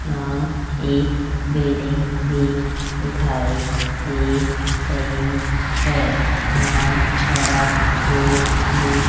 यहां एक बिल्डिंग भी दिखाई दे रही है यहां हरा बोर्ड भी --